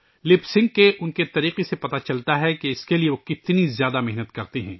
ہونٹوں کی حرکت کے اُن کے طریقے سے پتہ چلتا ہے کہ اس کے لئے وہ کتنی زیادہ محنت کرتے ہیں